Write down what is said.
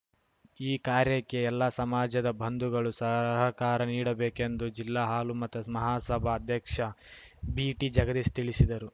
ಈ ಕಾರ್ಯಕ್ಕೆ ಎಲ್ಲಾ ಸಮಾಜದ ಬಂಧುಗಳು ಸರ ಹಕಾರ ನೀಡಬೇಕೆಂದು ಜಿಲ್ಲಾ ಹಾಲುಮತ ಮಹಾಸಭಾ ಅಧ್ಯಕ್ಷ ಬಿಟಿಜಗದೀಶ್‌ ತಿಳಿಸಿದರು